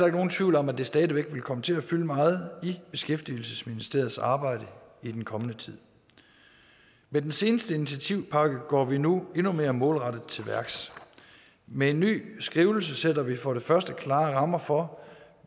nogen tvivl om at det stadig væk vil komme til at fylde meget i beskæftigelsesministeriets arbejde i den kommende tid med den seneste initiativpakke går vi nu endnu mere målrettet til værks med en ny skrivelse sætter vi for det første klare rammer for